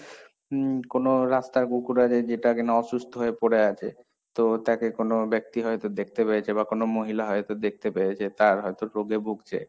উম, কোনো রাস্তার কুকুর আছে যেটা কি না অসুস্থ হয়ে পড়ে আছে, তো তাকে কোনো ব্যক্তি হয়তো দেখতে পেয়েছে, বা কোনো মহিলা হয়তো দেখতে পেয়েছে, তার হয়তো রোগে ভুগছে,